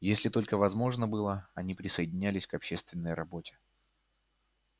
если только возможно было они присоединялись к общественной работе